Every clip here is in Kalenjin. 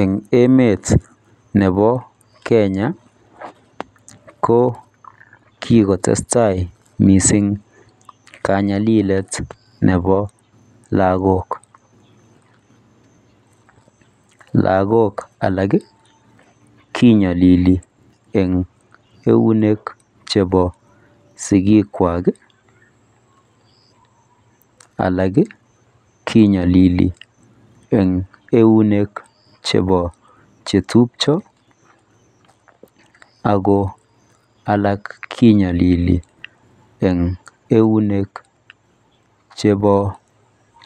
En emet nebo Kenya ko kikotestai mising kanyalilet nebo lagok ,lagok alak kinyolili sigik kwak alak kinyolili en euklne chebo chetupcho alak kinyolili en eunek kab chebo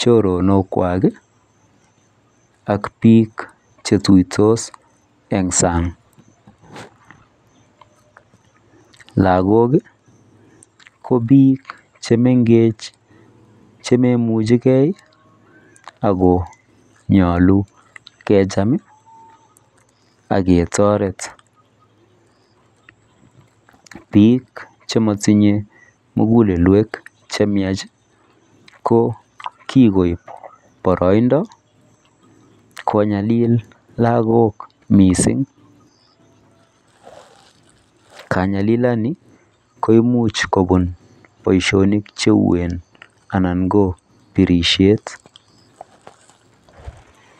choronok chwak ak bik chetuitos en sang lagok ko bik chemengech chemoimuchegei akongolu kecham akeyoret bik chomotinge mugulelwonik chemyach ko kikoib boroindo konyalil lagok mising kanyalilani ko imuch kobun chito,,,Alan ko birishet